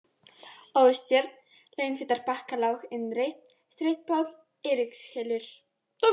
Óstjörn, Launfitarbakkalág innri, Strympuhóll, Eiríkshylur